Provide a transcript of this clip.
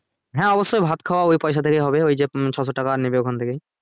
হ্যাঁ অব্যশই ভাত খাওয়া ওই পয়সা থেকেই হবে ওই যে ছশো টাকা নেবে ওখান থেকেই